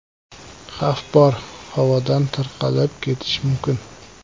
Xavf bor, havodan tarqalib ketishi mumkin.